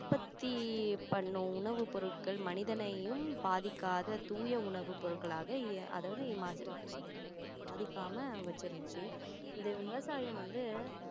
உற்பத்தி பண்ணும் உணவு பொருட்கள் மனிதனையும் பாதிக்காத தூய உணவு பொருட்களாக அதாவது மனுஷங்களை பாதிக்காம வச்சிருந்துச்சி இந்த விவசாயம் வந்து